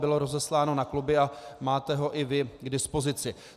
Bylo rozesláno na kluby a máte ho i vy k dispozici.